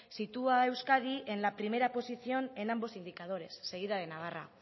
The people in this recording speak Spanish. sitúa a euskadi en la primera posición en ambos indicadores seguida de navarra